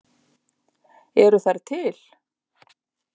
Eru þær til?